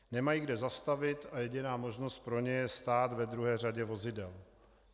Nemají kde zastavit a jediná možnost pro ně je stát ve druhé řadě vozidel.